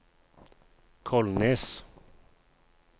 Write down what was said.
Kolnes